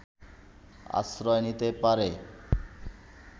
আশ্রয় নিতে পারে